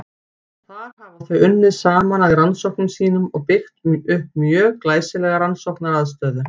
Þar hafa þau unnið saman að rannsóknum sínum og byggt upp mjög glæsilega rannsóknaraðstöðu.